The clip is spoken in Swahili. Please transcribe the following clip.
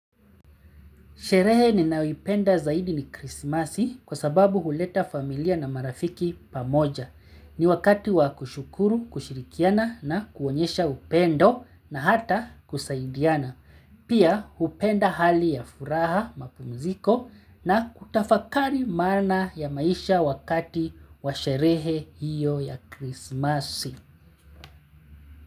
Sherehe ninayoipenda zaidi ni krisimasi kwa sababu huleta familia na marafiki pamoja. Ni wakati wakushukuru kushirikiana na kuonyesha upendo na hata kusaidiana. Pia kupenda hali ya furaha mapumziko na kutafakari maana ya maisha wakati wa sherehe hiyo ya krisimasi.